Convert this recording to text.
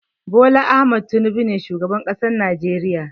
Bola Ahmad Tinubu ne shugaban ƙasan najeriya.